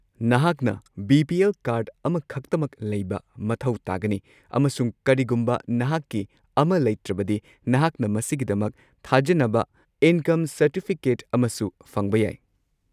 ꯅꯍꯥꯛꯅ BPL. Card ꯑꯃꯈꯛꯇꯃꯛ ꯂꯩꯕ ꯃꯊꯧ ꯇꯥꯒꯅꯤ ꯑꯃꯁꯨꯡ ꯀꯔꯤꯒꯨꯝꯕ ꯅꯍꯥꯛꯀꯤ ꯑꯃ ꯂꯩꯇ꯭ꯔꯕꯗꯤ, ꯅꯍꯥꯛꯅ ꯃꯁꯤꯒꯤꯗꯃꯛ ꯊꯥꯖꯤꯟꯅꯕ ꯏꯟꯀꯝ ꯁꯔꯇꯤꯐꯤꯀꯦꯠ ꯑꯃꯁꯨ ꯐꯪꯕ ꯌꯥꯏ꯫